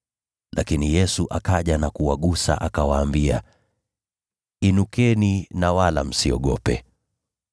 Lakini Yesu akaja na kuwagusa, akawaambia, “Inukeni na wala msiogope.”